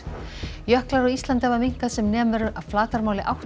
jöklar á Íslandi hafa minnkað um sem nemur flatarmáli átta